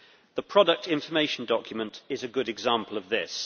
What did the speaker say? The product information document is a good example of this.